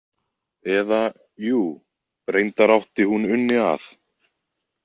Eða, jú, reyndar átti hún Unni að.